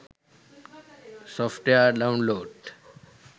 software download